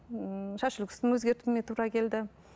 ммм шаш үлгісін өзгертуіме тура келді